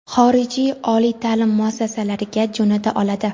xorijiy oliy taʼlim muassasalariga jo‘nata oladi.